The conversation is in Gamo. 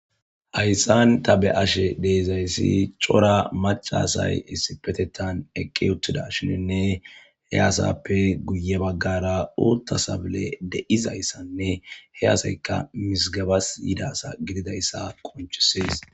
Hayssan ta be'ashe de'izayssi cora macca asay issippetettan eqqi uttidashininne he asappe guye baggara uutta sabiley de'izayssanne he asaykka qa mizigebas yidayssa gididayssa qonccisees.